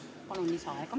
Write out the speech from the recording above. Palun lisaaega!